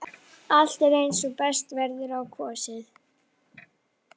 Allt er eins og best verður á kosið.